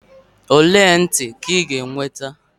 ole ntị ka ị ga-enweta?